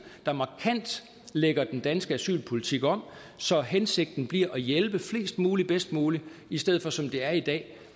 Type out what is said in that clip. der markant lægger den danske asylpolitik om så hensigten bliver at hjælpe flest muligt bedst muligt i stedet for som det er i dag